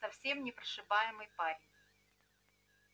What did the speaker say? совсем непрошибаемый парень